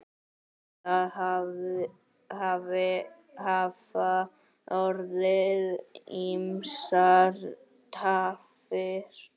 Það hafa orðið ýmsar tafir.